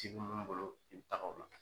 Ci be mun bolo i bi taga o la.